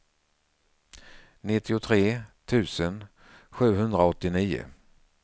nittiotre tusen sjuhundraåttionio